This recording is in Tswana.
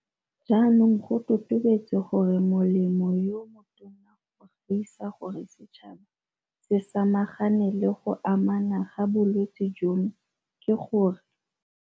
Jaanong go totobetse gore molemo yo motona go gaisa gore setšhaba se samagane le go anama ga bolwetse jono ke gore.